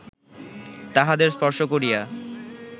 তাহাদের স্পর্শ করিয়া